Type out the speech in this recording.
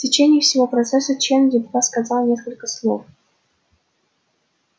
в течение всего процесса чен едва сказал несколько слов